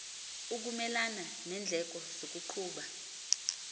ukumelana neendleko zokuqhuba